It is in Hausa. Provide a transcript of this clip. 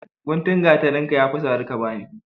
Guntun gatarinka yafi tsare ka bani.